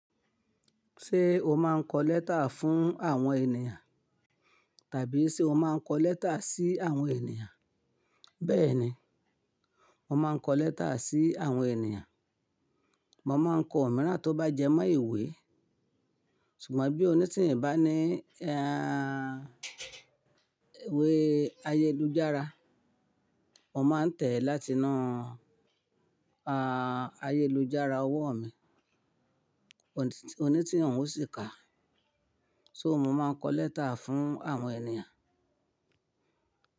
Ṣé o máa ń kọ lẹ́tà fún àwọn ènìyàn tàbí ṣe o máa ń kọ lẹ́tà sí àwọn ènìyàn? Bẹ́ẹ̀ni, mo máa ń kọ lẹ́tà sí àwọn ènìyàn. Mo máa ń kọ omìíràn tó bá jẹ mọ́ iwe. Ṣùgbọ́n bí onítìin bá ní, iwe ayélujára, mo máa ń tẹ̀ ẹ́ láti inu, ayélujára ọwọ́ mi. Onítìùn òṣì kà. So mo máa ń kọ lẹ́tà fún àwọn ènìyàn.